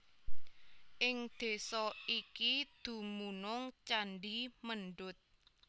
Ing desa iki dumunung candhi Mendut